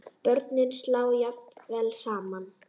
Börnin slá jafnvel saman.